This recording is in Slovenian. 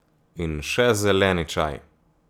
In še, zeleni čaj.